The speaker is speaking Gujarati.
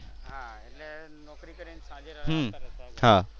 હા એટલે નોકરી કરી ને સાંજે